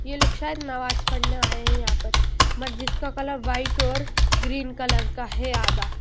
यह लोग शायद नमाज पढ़ने आए हैं यहां पे मस्जिद का कलर व्हाइट और ग्रीन कलर है आधा--